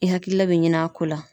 I hakilila bɛ ɲin'a ko la.